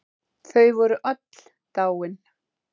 Þau voru öll dáin.